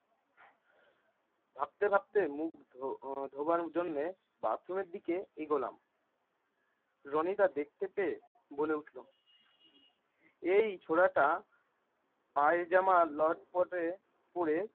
ভাবতে ভাবতে মুখ ধো~ আহ ধোঁবার জন্যে bathroom এর দিকে এগোলাম। রনি দা দেখতে পেয়ে বলে উঠল এই ছোড়াটা পায়জামা লটপটে পরে